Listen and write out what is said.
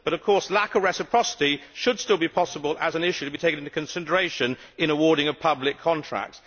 But of course, lack of reciprocity should still be possible as an issue to be taken into consideration in awarding a public contract.